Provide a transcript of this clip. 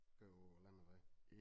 Køre på æ landevej